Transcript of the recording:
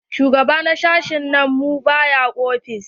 Shugaba na sashi na mu ba ya ofis.